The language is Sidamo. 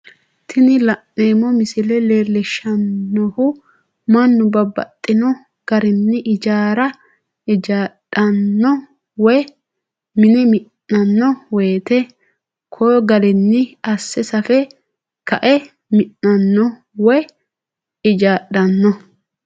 Tini la'neemo misile leellishanohu mannu babaxxino garinni ijjaara ijjaadhano woyi mine minanno woyite ko garinni ase safe kae mi'nanno woyi ijjaadhano